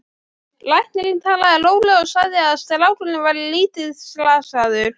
Læknirinn talaði rólega og sagði að strákurinn væri lítið slasaður.